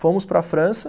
Fomos para a França.